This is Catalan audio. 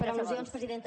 per al·lusions presidenta